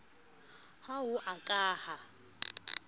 ha ho a ka ha